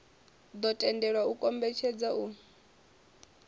ḓo tendelwa u kombetshedza u